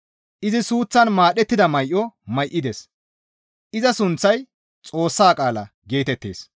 Izi suuththan maadhettida may7o may7ides; iza sunththay, «Xoossa qaala» geetettees.